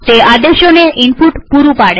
તે આદેશોને ઈનપુટ પૂરું પાડે છે